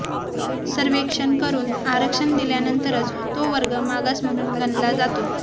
सर्व्हेक्षण करून आरक्षण दिल्यानंतरच तो वर्ग मागास म्हणून गणला जातो